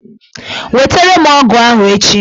Wetara m ọgụ ahụ echi!